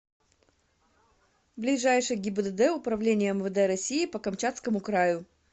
ближайший гибдд управления мвд россии по камчатскому краю